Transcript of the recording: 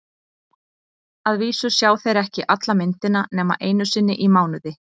Að vísu sjá þeir ekki alla myndina nema einu sinni í mánuði.